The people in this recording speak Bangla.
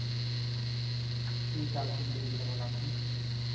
এইতো আলহামদুলিল্লাহ ভালো আপনি?